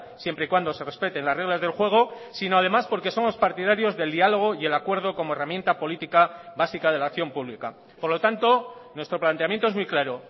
siempre y cuando se respeten las reglas del juego sino además porque somos partidarios del diálogo y el acuerdo como herramienta política básica de la acción pública por lo tanto nuestro planteamiento es muy claro